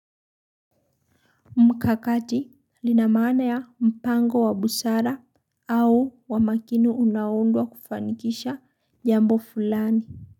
Mkakati linamana ya mpango wa busara au wa makini unaoundwa kufanikisha jambo fulani.